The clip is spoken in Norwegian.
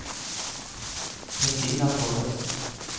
Kristina Tollefsen